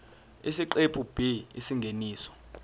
isiqephu b isingeniso